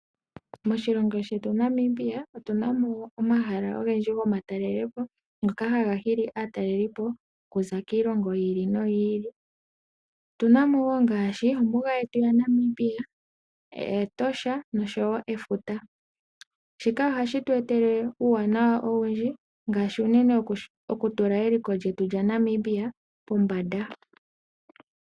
Moshilongo shetu Namibia otu na mo omahala ogendji gomatalelo po ngoka haga hili aataleli po okuza komahala gi ili nogi ili. Otu na mo ngaashi ombuga yetu yaNamibia, Etosha noshowo efuta. Shika ohashi tu etele uuwanawa owindji ngaashi okutula eliko lyetu lyaNamibia pombanda.